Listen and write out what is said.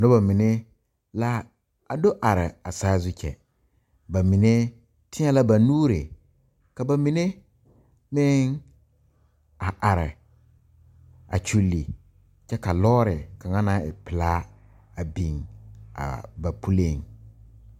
Noba mene la a do are a saazu kyɛ. Ba mene teɛ la ba nuure, ka ba mene meŋ a are a kyule kyɛ ka lɔre kanga na e pulaa a biŋ a ba puliŋ.